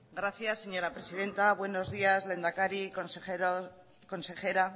gracias señora presidenta buenos días lehendakari consejero consejera